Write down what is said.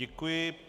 Děkuji.